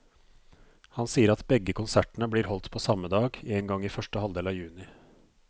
Han sier at begge konsertene blir holdt på samme dag, en gang i første halvdel av juni.